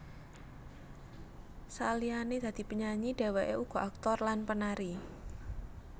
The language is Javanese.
Saliyane dadi penyanyi dheweke uga aktor lan penari